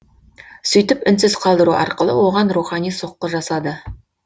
сөйтіп үнсіз қалдыру арқылы оған рухани соққы жасады